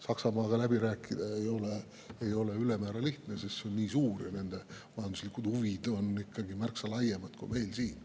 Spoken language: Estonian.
Saksamaaga läbi rääkida ei ole ülemäära lihtne, sest see on nii suur ja selle majanduslikud huvid on ikkagi märksa laiemad kui meil siin.